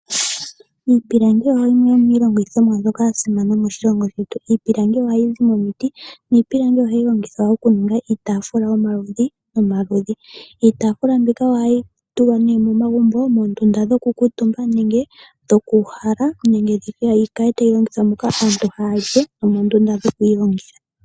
Iipilangi ohayi ningi iilongithomwa mbyoka yasimana moshilongo shetu Iipilangi ohayi zi momiti , niipilangi ohayi longithwa okuninga iitafula yomaludhi nomaludhi. Iitaafula mbika ohayi tulwa ne momagumbo moondunda dhoku kuutumba nenge dhokuhala nenge nditye yikale tayi longithwa moka aantu hayuuhala nomoondunda dhokwiilongela.